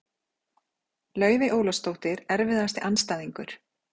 Laufey Ólafsdóttir Erfiðasti andstæðingur?